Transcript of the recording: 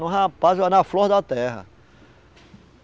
rapaz, na flor da terra.